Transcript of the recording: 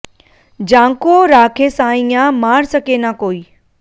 जांकों राखे सांईयां मार सके ना कोई